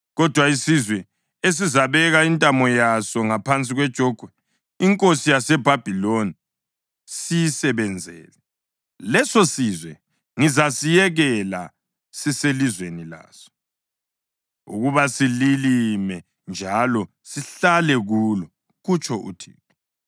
Kodwa isizwe esizabeka intamo yaso ngaphansi kwejogwe lenkosi yaseBhabhiloni siyisebenzele, lesosizwe ngizasiyekela siselizweni laso ukuba sililime njalo sihlale kulo, kutsho uThixo.”